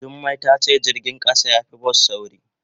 Jummai ta ce jirgin kasa ya fi bas sauri.